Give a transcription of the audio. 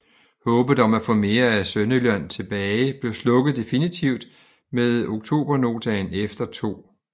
Håbet om at få mere af Sønderjylland tilbage blev slukket definitivt med Oktobernoten efter 2